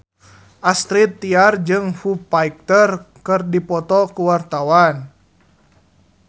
Astrid Tiar jeung Foo Fighter keur dipoto ku wartawan